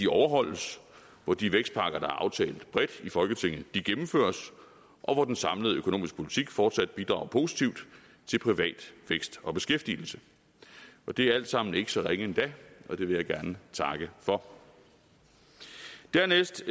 overholdes hvor de vækstpakker der er aftalt bredt i folketinget gennemføres og hvor den samlede økonomiske politik fortsat bidrager positivt til privat vækst og beskæftigelse det er alt sammen ikke så ringe endda og det vil jeg gerne takke for dernæst